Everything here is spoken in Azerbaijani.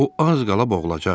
O az qala boğulacaqdı.